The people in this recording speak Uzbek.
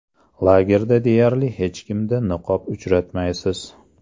Lagerda deyarli hech kimda niqob uchratmaysiz.